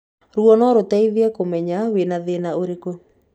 Ruo no rũteithĩrĩrie kũmenya wĩna thĩna ũrĩkũ.